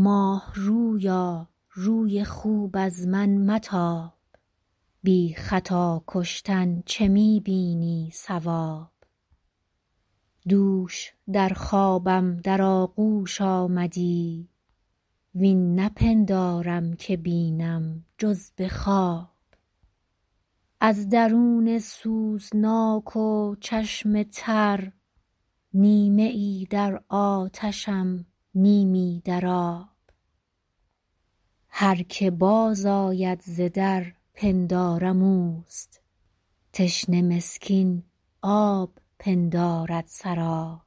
ماه رویا روی خوب از من متاب بی خطا کشتن چه می بینی صواب دوش در خوابم در آغوش آمدی وین نپندارم که بینم جز به خواب از درون سوزناک و چشم تر نیمه ای در آتشم نیمی در آب هر که باز آید ز در پندارم اوست تشنه مسکین آب پندارد سراب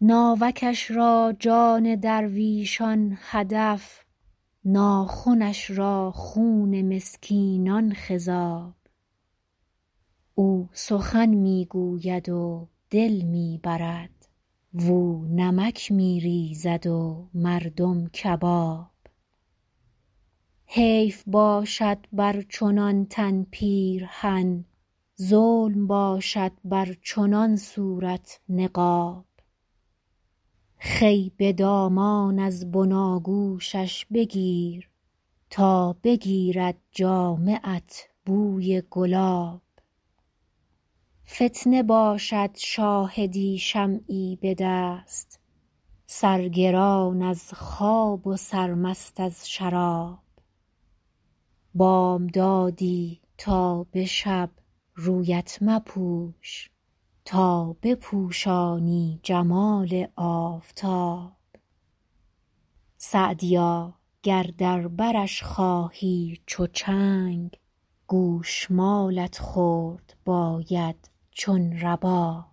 ناوکش را جان درویشان هدف ناخنش را خون مسکینان خضاب او سخن می گوید و دل می برد واو نمک می ریزد و مردم کباب حیف باشد بر چنان تن پیرهن ظلم باشد بر چنان صورت نقاب خوی به دامان از بناگوشش بگیر تا بگیرد جامه ات بوی گلاب فتنه باشد شاهدی شمعی به دست سرگران از خواب و سرمست از شراب بامدادی تا به شب رویت مپوش تا بپوشانی جمال آفتاب سعدیا گر در برش خواهی چو چنگ گوش مالت خورد باید چون رباب